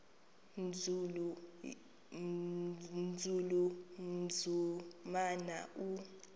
nzulu umnumzana u